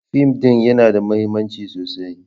Fim ɗin yana da mahimmanci sosai.